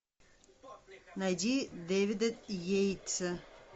найди дэвида йейтса